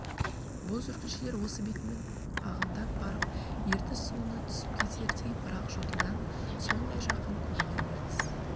бұл жүргіншілер осы бетімен ағындап барып ертіс суына түсіп кетердей бірақ жотадан сондай жақын көрінген ертіс